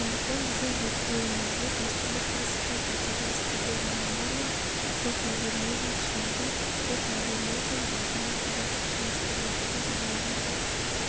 сондықтан біздің зерттеуімізде дәстүрлі классикалық әдеби стильді романдар мен постмодернизм түсінігін постмодернизм мәдени-тарихи кеңістігіндегі романдарды